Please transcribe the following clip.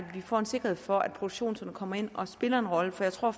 får en sikkerhed for at produktionsskolerne kommer ind og spiller en rolle for jeg tror